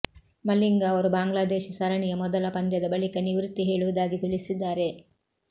ಮಲಿಂಗ ಅವರು ಬಾಂಗ್ಲಾದೇಶ ಸರಣಿಯ ಮೊದಲ ಪಂದ್ಯದ ಬಳಿಕ ನಿವೃತ್ತಿ ಹೇಳುವುದಾಗಿ ತಿಳಿಸಿದ್ದಾರೆ